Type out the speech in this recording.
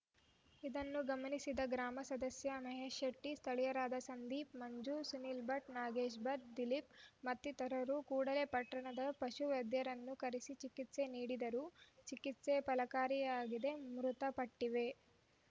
ಇದನ್ನು ಗಮನಿಸಿದ ಗ್ರಾಮ ಸದಸ್ಯ ಮಹೇಶ್‌ಶೆಟ್ಟಿ ಸ್ಥಳೀಯರಾದ ಸಂದೀಪ್‌ ಮಂಜು ಸುನಿಲ್‌ಭಟ್‌ ನಾಗೇಶ್‌ಭಟ್‌ ದಿಲೀಪ್‌ ಮತ್ತಿತರರು ಕೂಡಲೇ ಪಟ್ಟಣದ ಪಶು ವೈದ್ಯರನ್ನು ಕರೆಸಿ ಚಿಕಿತ್ಸೆ ನೀಡಿದರೂ ಚಿಕಿತ್ಸೆ ಫಲಕಾರಿಯಾಗಿದಿ ಮೃತಪಟ್ಟಿವೆ